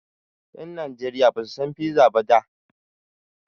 Ƴan Najeriya Basu san piza ba da.